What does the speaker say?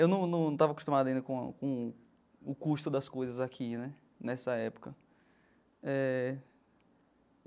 Eu num num estava acostumado ainda com a com o o custo das coisas aqui né nessa época eh.